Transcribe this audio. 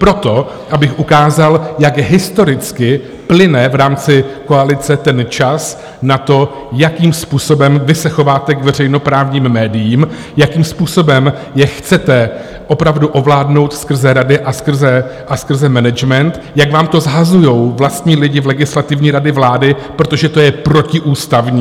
Proto, abych ukázal, jak historicky plyne v rámci koalice ten čas na to, jakým způsobem vy se chováte k veřejnoprávním médiím, jakým způsobem je chcete opravdu ovládnout skrze rady a skrze management, jak vám to shazují vlastní lidi v Legislativní radě vlády, protože to je protiústavní.